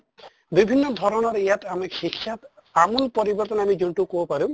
বিভিন্ন ধৰণৰ ইয়াত আমি শিক্ষা আমূল পৰৱৰ্তন আমি যোনটো কʼব পাৰো